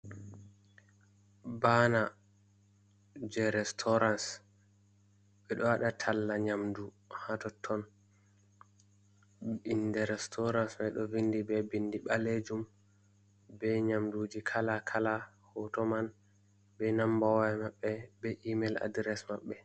Baana je restaurans ɓeɗo waɗa talla nyamdu ha totton. Bindi restaurans mai ɗo vindi be bindi ɓalejum be nyamduji kala kala hoto man be namba waya maɓɓe be email address maɓɓe.